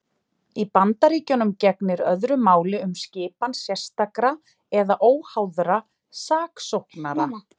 Í Bandaríkjunum gegnir öðru máli um skipan sérstakra eða óháðra saksóknara.